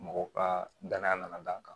Mɔgɔw ka danaya nana d'an kan